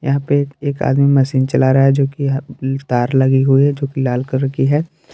यहा पे एक एक आदमी मसीन चला रहा है जो कि ह तार लगी हुई है जो कि लाल कलर की है।